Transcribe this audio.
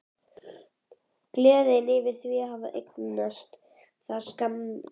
Gleðin yfir því að hafa eignast það var skammvinn.